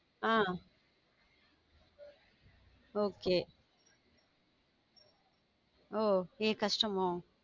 ஹம் okay உம் ஏன் கஷ்டமோ